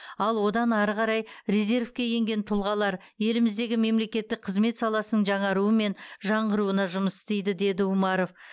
ал одан ары қарай резервке енген тұлғалар еліміздегі мемлекеттік қызмет саласының жаңаруы мен жаңғыруына жұмыс істейді деді а умаров